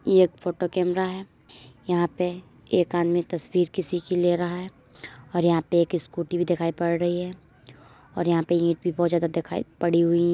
यह एक photo camera है यहाँ पे एक आदमी तस्वीर किसी की ले रहा है और यहाँ पे एक स्कूटी भी दिखाई पड़ रही है और यहाँ पे ईंट भी बहुत ज्यादा दिखाई पड़ी हुईं --